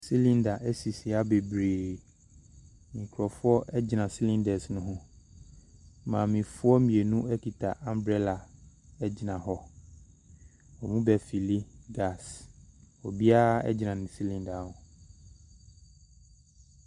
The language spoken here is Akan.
Silinda ɛsisi ha beberee, nkrɔfoɔ egyina silindɛs ne ho. Maamefoɔ mmienu ekuta ambrɛla egyina hɔ. Ɔmmu bɛ filli gas, obia egyina ne silinda hɔ .